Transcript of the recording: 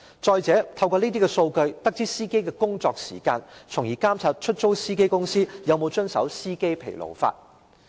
再者，當局可透過這些數據得知司機的工作時間，從而監察出租汽車公司有否遵守疲勞駕駛的相關法例。